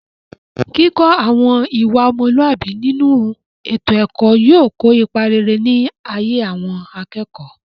kíkọ́ àwọn ìwà ọmọlúàbí nínú ètò ẹ̀kọ́ yóò kó ipa rere ní ayé àwọn akẹ́kọ̀ọ́